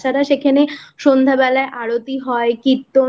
ভালো আর তাছাড়া সেখানে সন্ধ্যেবেলা আরতি হয় কীর্তন